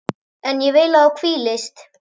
En ég vil að þú hvílist.